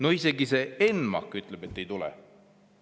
No isegi ENMAK ütleb, et ei tule.